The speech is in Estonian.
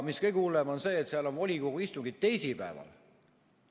Kõige hullem on see, et seal on volikogu istungid teisipäeval.